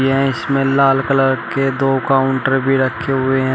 यह इसमें लाल कलर के दो काउंटर भी रखे हुए हैं।